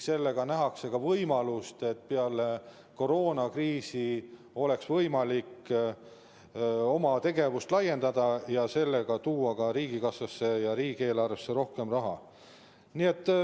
Siis nähakse ka, et peale koroonakriisi on võimalik oma tegevust laiendada ja tuua ka riigikassasse ja riigieelarvesse rohkem raha.